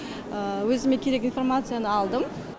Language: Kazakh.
өзіме керек информацияны алдым